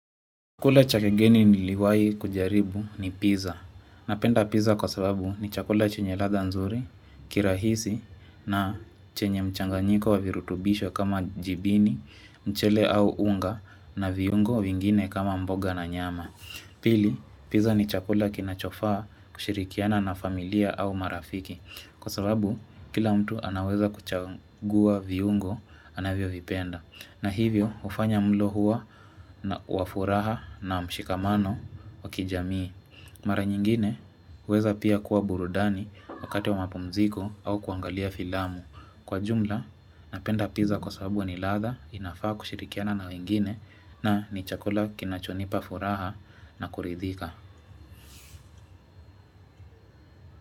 Chakula chakigeni niliwai kujaribu ni pizza. Napenda pizza kwa sababu ni chakula chenye latha nzuri, kirahisi, na chenye mchanganyiko wa virutubisho kama jibini, mchele au unga, na viungo vingine kama mboga na nyama. Pili, pizza ni chakula kinachofaa kushirikiana na familia au marafiki. Kwa sababu, kila mtu anaweza kuchagua viungo, anavyovipenda. Na hivyo hufanya mlo huo kuwa wa furaha na mshikamano wa kijamii Mara nyingine huweza pia kuwa burudani wakati wa mapumziko au kuangalia filamu Kwa jumla napenda pizza kwa sababu ni latha inafaa kushirikiana na wengine na ni chakula kinachonipa furaha na kuridhika.